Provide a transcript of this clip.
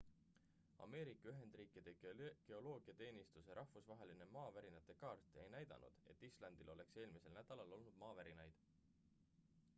ameerika ühendriikide geoloogiateenistuse rahvusvaheline maavärinate kaart ei näidanud et islandil oleks eelmisel nädalal olnud maavärinaid